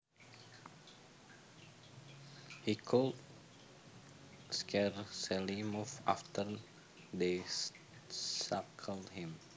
He could scarcely move after they shackled him